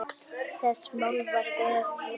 Þessi málverk eigast við sjálf.